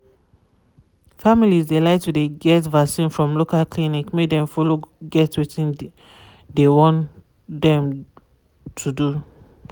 families de like to de get vaccin from local clinic make dem follow get wetin de dey wan dem to do.